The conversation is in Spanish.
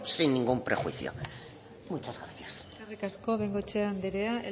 sin ningún prejuicio muchas gracias eskerrik asko de bengoechea anderea